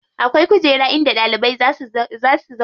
Akwai kujera in da ɗalibai za si zauna.